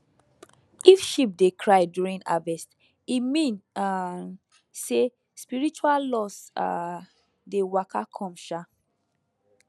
if sheep dey cry during harvest e mean um say spiritual loss um dey waka come um